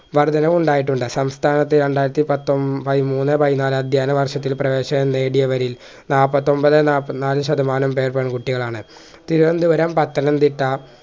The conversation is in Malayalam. വർദ്ധനവുണ്ടായിട്ടുണ്ട് സംസ്ഥാനത്തെ രണ്ടായിരത്തി പത്തോമ്പ പയിമൂന്നോ പയിന്നല് എന്നി വർഷത്തിൽ പ്രേവേശനം നേടിയവരിൽ നാപ്പത്തൊമ്പത് നാപ്പതിനാല് ശതമാനം പേർ പെൺകുട്ടികളാണ് തിരുവന്തുരം പത്തനംതിട്ട